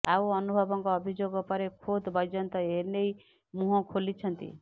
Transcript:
ଆଉ ଅନୁଭବଙ୍କ ଅଭିଯୋଗ ପରେ ଖୋଦ୍ ବୈଜୟନ୍ତ ଏନେଇ ମୁହଁ ଖୋଲିଛନ୍ତି